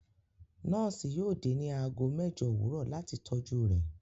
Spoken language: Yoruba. Nọọsi yóò dẹ̀ ní àágọ̀ mẹjọ́ owurọ̀ latí tọ́jú rè